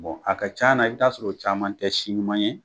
Bɔn a ka c'a na i t'a sɔrɔ o caman tɛ si ɲuman ye.